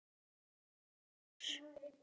Elís Þór.